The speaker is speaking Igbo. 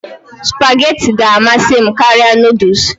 Supagetii ga-amasị m karịa noodles